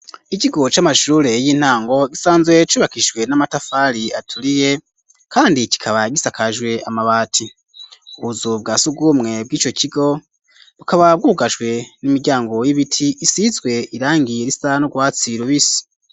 Ikigo c'amashrure y'intango gisanzwe cubakishijwe n'amatafari aturiye kandi kikaba gisakajwe amabati ubuzu bwa sugumwe bwico kigo bukaba bwugajwe n'imiryango y'ibiti isizwe irangi risa n'urwatsi rubisi.